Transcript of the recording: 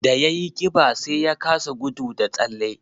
Da ya yi ƙiba, sai ya kasa gudu da tsalle